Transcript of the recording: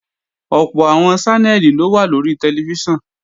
Ọ̀pọ̀ àwọn Ṣánẹ́lì ló wà lórí tẹlifíṣàn